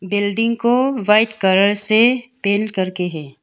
Building को white colour से paint करके हैं।